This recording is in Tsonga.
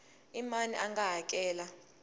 i mani a nga hakela